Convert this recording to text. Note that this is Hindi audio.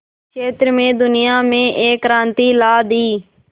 क्षेत्र में दुनिया में एक क्रांति ला दी